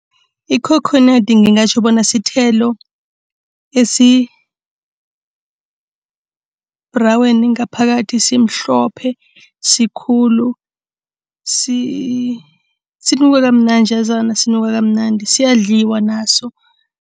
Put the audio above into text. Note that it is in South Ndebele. Ikhokhonadi ngingatjho bona sithelo esi-brown, ngaphakathi simhlophe, sikhulu, sinuka kamnanjazana. Sinuka kamnandi, siyadliwa naso.